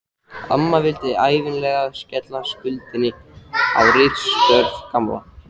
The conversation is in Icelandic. Amma vildi ævinlega skella skuldinni á ritstörf Gamla.